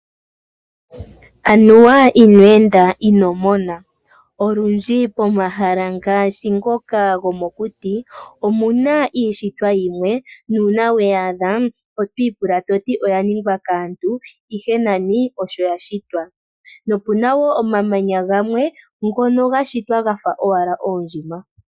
Anuwa ino enda inomona . Olundji pomahala ngoka ngaashi ngoka gomokuti omuna iishitwa yimwe nu una weyi adha oto ipula toti oya ningwa kaantu ihe nani osho yashitwa. Nopuna wo omamanya gamwe ngono hashitwa gafa owala oondjima .